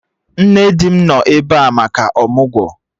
Nne di m nọ ebe a maka ọmụgwọ